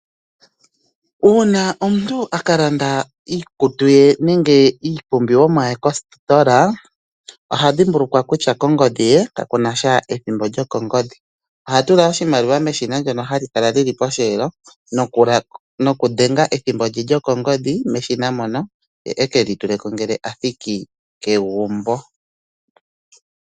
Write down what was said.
Uuna omuntu a ka landa iikutu ye nenge iipumbiwa ye kositola oha dhimbulukwa kutya kongodhi ye kakunasha ethimbo lyokongodhi, oha tula oshimaliwa meshina ndono hali kala li li posheelo nokudhenga ethimbo lye lyokongodhi meshina mono ye ekeli tuleko ngele athiki kegumbo.